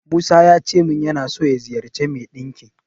Musa yace min yana so ya ziyarci mai ɗinki.